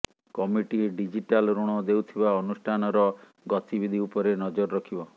committee digital ଋଣ ଦେଉଥିବା ଅନୁଷ୍ଠାନର ଗତିବିଧି ଉପରେ ନଜର ରଖିବ